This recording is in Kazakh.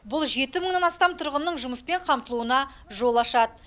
бұл жеті мыңнан астам тұрғынның жұмыспен қамтылуына жол ашады